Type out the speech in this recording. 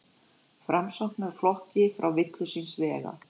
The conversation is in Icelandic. Framsóknarflokki frá villu síns vegar.